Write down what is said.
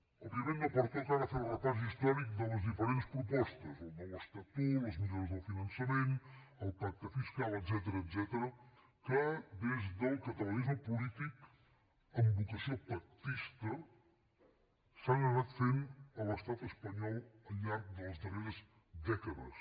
òbviament no pertoca ara fer el repàs històric de les diferents propostes el nou estatut les millores del finançament el pacte fiscal etcètera que des del catalanisme polític amb vocació pactista s’han anat fent a l’estat espanyol al llarg de les darreres dècades